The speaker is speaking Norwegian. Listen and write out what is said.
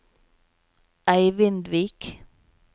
Eivindvik